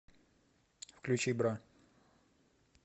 включи бра